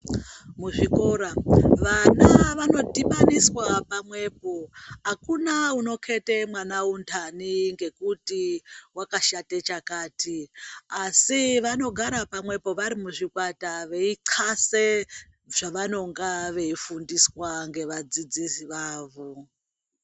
Muzvikora vana vano dhibaniswa pamwepo akuna unoketa mwana undani ngekuti wakashata chakati asi vanogara pamwepo vari muzvikwata veinxa zvavanenge veifundiswa nevadzidzisi vavo.